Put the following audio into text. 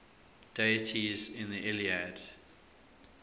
deities in the iliad